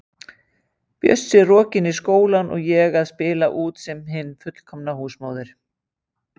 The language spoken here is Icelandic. Bjössi rokinn í skólann og ég að spila út sem hin fullkomna húsmóðir.!